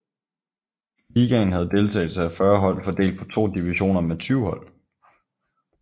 Ligaen havde deltagelse af 40 hold fordelt på to divisioner med 20 hold